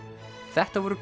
þetta voru